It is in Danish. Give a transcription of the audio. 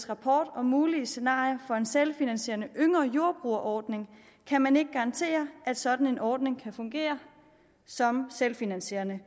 rapport om mulige scenarier for en selvfinansierende yngre jordbruger ordning kan man ikke garantere at en sådan ordning kan fungere som selvfinansierende